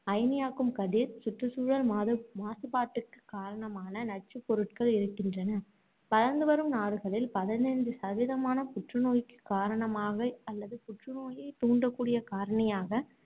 அயனியாக்கும் கதிர், சுற்றுச்சூழல் மாசு~ மாசுபாட்டுக்குக் காரணமான நச்சுப் பொருட்கள் இருக்கின்றன. வளர்ந்துவரும் நாடுகளில், பதினைந்து சதவீதமான புற்று நோய்க்குக் காரணமாக, அல்லது புற்று நோயைத் தூண்டக்கூடிய காரணியாக